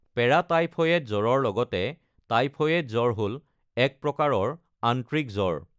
Paratyphoid জ্বৰৰ লগতে typhoid জ্বৰ হ'ল এক প্ৰকাৰৰ আন্ত্ৰিক জ্বৰ।